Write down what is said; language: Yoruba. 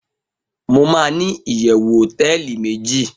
mo ma ni iyewu hoteeli meji